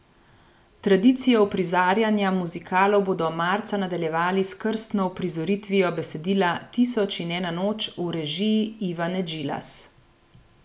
Tradicijo uprizarjanja muzikalov bodo marca nadaljevali s krstno uprizoritvijo besedila Tisoč in ena noč v režiji Ivane Djilas.